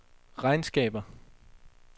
regnskaber